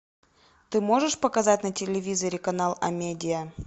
ты можешь показать на телевизоре канал амедиа